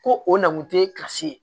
Ko o na kun tɛ kilasi ye